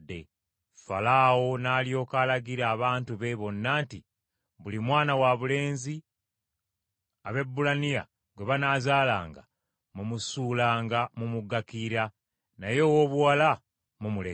Falaawo n’alyoka alagira abantu be bonna nti, “Buli mwana wabulenzi Abaebbulaniya gwe banaazaalanga mumusuulanga mu mugga Kiyira, naye owoobuwala mumulekanga.”